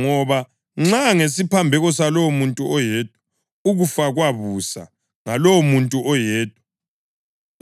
Ngoba nxa ngesiphambeko salowomuntu oyedwa, ukufa kwabusa ngalowomuntu oyedwa,